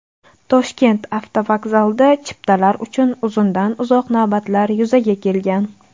Toshkent avtovokzalida chiptalar uchun uzundan-uzoq navbatlar yuzaga kelgan .